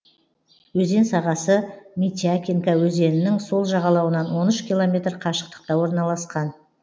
өзен сағасы митякинка өзенінің сол жағалауынан он үш километр қашықтықта орналасқан